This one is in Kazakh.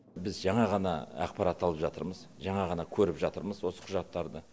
біз жаңа ғана ақпарат алып жатырмыз жаңа ғана көріп жатырмыз осы құжаттарды